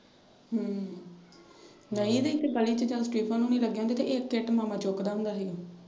ਹਮ ਨਈਂ ਤੇ ਇੱਥੇ ਗਲੀ ਚ . ਤੇ ਇੱਕ ਇੱਟ ਨਾਲ ਮਤਲਬ ਫੜਾਉਂਦਾ ਹੁੰਦਾ ਸੀ ਉਹਨੂੰ।